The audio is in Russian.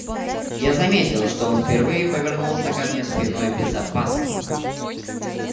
я заметил что он впервые повернулся ко мне спиной без опаски